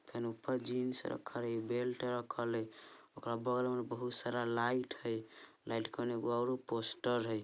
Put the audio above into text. फेन ऊपर जीन्स है रक्खल इ बेल्ट रक्खल है| ओकरा बगल में बहुत सारा लाइट है लाइट कन एगो आरो पोस्टर है।